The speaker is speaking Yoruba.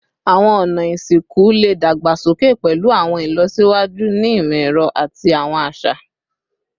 Awọn ọna isinku le dagbasoke pẹlu awọn ilọsiwaju ni imọ-ẹrọ ati awọn aṣa